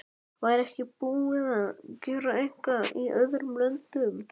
Væri ekki búið að gera eitthvað í öðrum löndum?